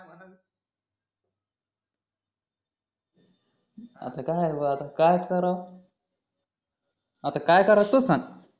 आता काय भो आता कायचं करावं आता काय करायच सांग